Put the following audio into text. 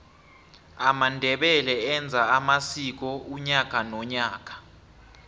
amandebele enza amsiko unyaka nonyaka